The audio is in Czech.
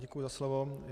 Děkuji za slovo.